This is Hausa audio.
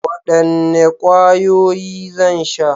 Wadanne kwayoyi zan sha?